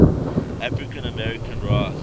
african americans rights